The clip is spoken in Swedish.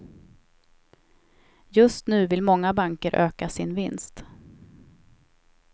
Just nu vill många banker öka sin vinst.